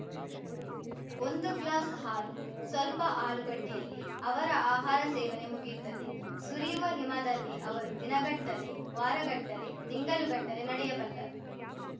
ಒಂದು ಗ್ಲಾಸ್‌ ಹಾಲು ಸ್ವಲ್ಪ ಆಲೂಗಡ್ಡೆಯಲ್ಲಿ ಅವರ ಆಹಾರ ಸೇವನೆ ಮುಗಿಯುತ್ತದೆ ಸುರಿಯುವ ಹಿಮದಲ್ಲಿ ಅವರು ದಿನಗಟ್ಟಲೆ ವಾರಗಟ್ಟಲೆ ತಿಂಗಳುಗಟ್ಟಲೆ ನಡೆಯಬಲ್ಲರು